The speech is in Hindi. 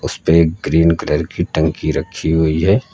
उस पे एक ग्रीन कलर की टंकी रखी हुई है।